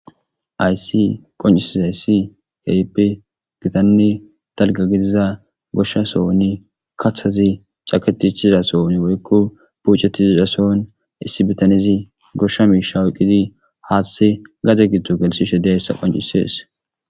Haysi qoncises hayssi kepe gitanni talga gidiza goshshasoonni kathazi caketichiza soon woykko bucetizizasoon issi bitanizi goshsha miisha woqqidi haathtse gade giddo gelsi shede hessa qoncisees